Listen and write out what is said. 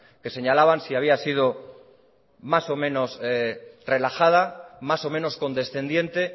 que señalaban si había sido más o menos relajada más o menos condescendiente